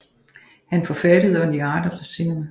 Han forfattede On the Art of the Cinema